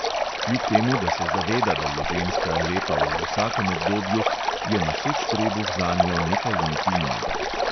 Kljub temu, da se zaveda, da je ženska lepa v vsakem obdobju, je noseč trebuh zanjo nekaj intimnega.